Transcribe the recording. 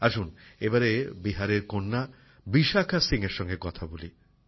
আসুন এবারে বিহারের কন্যা বিশাখা সিংএর সঙ্গে কথা বলি